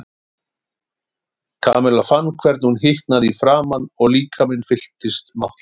Kamilla fann hvernig hún hitnaði í framan og líkaminn fylltist máttleysi.